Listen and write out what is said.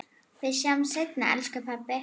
Við sjáumst seinna, elsku pabbi.